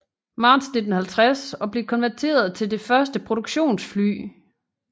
Marts 1950 og blev konverteret til det første produktionsfly